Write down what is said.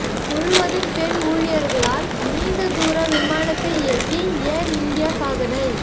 முழுவதும் பெண் ஊழியா்களால் நீண்ட தூர விமானத்தை இயக்கி ஏா் இந்தியா சாதனை